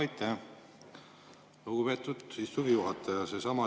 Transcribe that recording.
Aitäh, lugupeetud istungi juhataja!